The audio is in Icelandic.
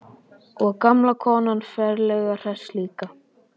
Og gamla konan ferlega hress líka.